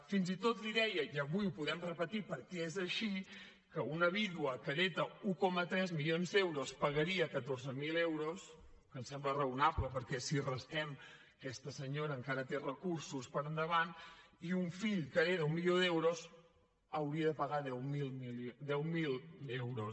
fins i tot li deia i avui ho podem repetir perquè és així que una vídua que hereta un coma tres milions d’euros pagaria catorze mil euros que em sembla raonable perquè si restem aquesta senyora encara té recursos per endavant i un fill que hereta un milió d’euros hauria de pagar deu mil euros